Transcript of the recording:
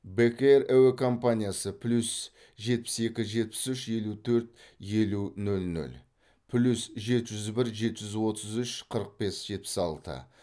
бек эйр әуе компаниясы плюс жетпіс екі жетпіс үш елу төрт елу нөл нөл плюс жеті жүз бір жеті жүз отыз үш қырық бес жетпіс алты